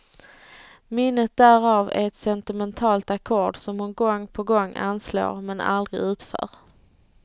Minnet därav är ett sentimentalt ackord som hon gång på gång anslår, men aldrig utför.